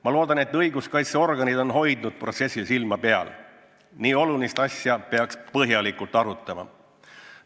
Ma loodan, et õiguskaitseorganid on hoidnud protsessil silma peal – nii olulist asja peaks põhjalikult arutama.